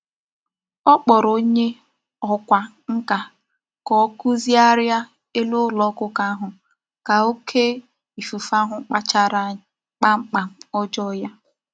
O kporo onye okwa nka ka o kuzigharia elu ulo okuko ahu ka oke ikuku ahu kpachara mkpamkpa ojoo ya.